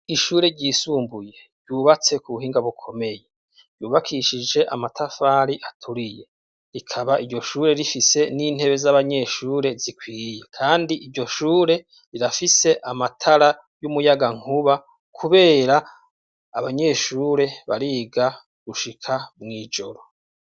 Ishure ryisumbuye ryubatse k'ubuhinga bukomeye ryubakishije amatafari aturiye rikaba iryoshure rifise n'intebe z'abanyeshure zikwiye kandi iryoshure rirafise amatara y'umuyagankuba kubera abanyeshure bariga gushika mw'ijoro.